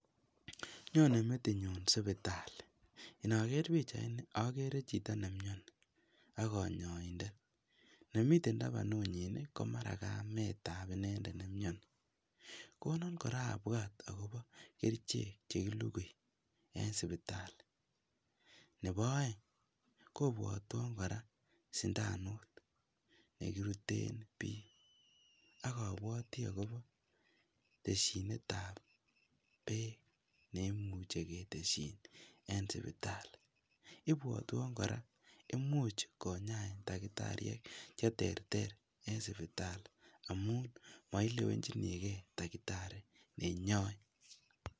Nyone metinyun sipitali, inoker pichaini okere chito nemioni ak konyoindet, nemiten tabanunyin komara ko kametab inendet nemioni, konon abwat kora akobo kerichek chekilukui en sipitali, nebo oeng kobwotwon kora sindanut nekiruten biik akobwote akobo teshinetab beek neimuche ketesyin en sipitali, ibwotwon kora imuch konyain takitariek cheterter en sipitali amun moilewenjinikee takitari nenyoin.